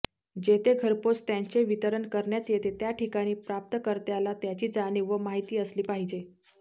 जेथे घरपोच त्यांचे वितरण करण्यात येते त्याठिकाणी प्राप्तकर्त्याला त्याची जाणीव व माहिती असली पाहिजे